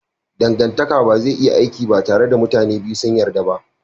Dangantaka ba zai iya aiki ba tare da mutanen biyu sun yarda ba.